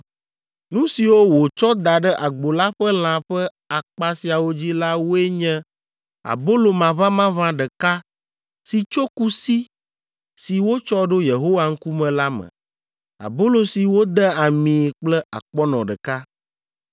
Nu siwo wòtsɔ da ɖe agbo la ƒe lã ƒe akpa siawo dzi la woe nye abolo maʋamaʋã ɖeka si tso kusi si wotsɔ ɖo Yehowa ŋkume la me, abolo si wode amii kple akpɔnɔ ɖeka.